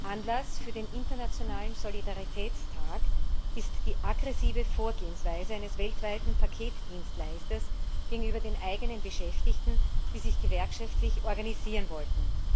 Anlass für den Internationalen Solidaritätstag ist die aggressive Vorgehensweise eines weltweit operierenden Paketdienstleisters gegenüber den eigenen Beschäftigten, die sich gewerkschaftlich organisieren wollten.